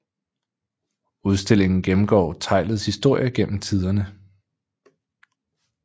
Udstillingen gennemgår teglets historie gennem tiderne